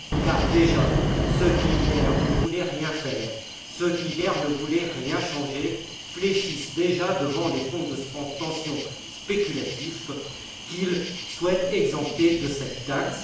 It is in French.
Car, déjà, ceux qui, hier, ne voulaient rien faire, ceux qui, hier, ne voulaient rien changer fléchissent devant les fonds de pension spéculatifs qu'ils souhaitent exempter de cette taxe.